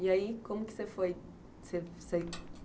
E aí, como que você foi?